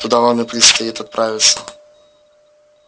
туда вам и предстоит отправиться